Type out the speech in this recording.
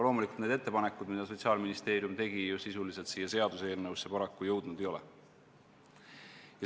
Paraku need ettepanekud, mis Sotsiaalministeerium tegi, sisuliselt siia seaduseelnõusse jõudnud ei ole.